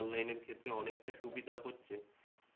অনলাইনের ক্ষেত্রে অনেকটা সুবিধা হচ্ছে,